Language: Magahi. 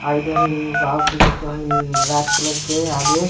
और इधर इ और कुछ तो ह-इ रेड कलर के आगे .